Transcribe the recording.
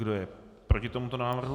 Kdo je proti tomuto návrhu?